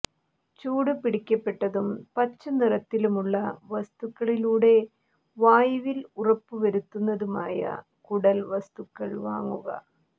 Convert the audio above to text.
ചൂടുപിടിപ്പിക്കപ്പെട്ടതും പച്ചനിറത്തിലുള്ള വസ്തുക്കളിലൂടെ വായുവിൽ ഉറപ്പു വരുത്തതുമായ കുടൽ വസ്തുക്കൾ വാങ്ങുക